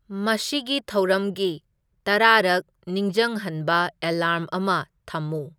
ꯃꯁꯤꯒꯤ ꯊꯧꯔꯝꯒꯤ ꯇꯔꯥꯔꯛ ꯅꯤꯡꯖꯪꯍꯟꯕ ꯑꯦꯂꯥꯔꯝ ꯑꯃ ꯊꯝꯃꯨ